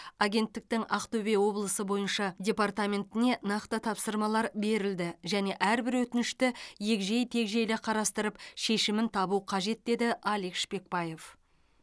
агенттіктің ақтөбе облысы бойынша департаментіне нақты тапсырмалар берілді және әрбір өтінішті егжей тегжейлі қарастырып шешімін табу қажет деді алик шпекбае